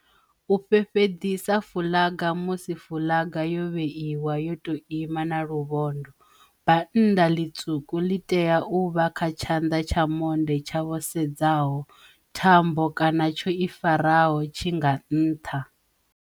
U fhefheḓisa fuḽaga Musi fuḽaga yo vheiwa yo tou ima na luvhondo, bannda ḽitswuku li tea u vha kha tshanda tsha monde tsha vho sedzaho, thambo kana tsho i faraho tshi nga nṱha.